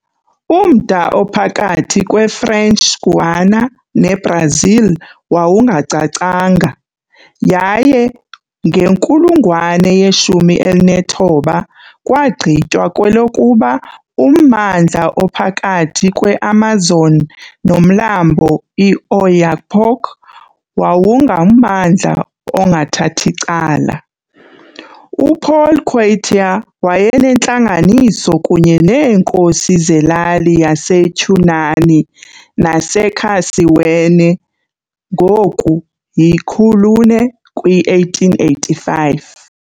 Umda ophakathi kweFrench Guiana neBrazil wawungacacanga, yaye ngenkulungwane ye-19, kwagqitywa kwelokuba ummandla ophakathi kweAmazon noMlambo iOyapock wawungummandla ongathath' icala. UPaul Quartier wayenentlanganiso kunye neenkosi zelali zaseCunani naseCarsewenne ngoku Calçoene kwi-1885.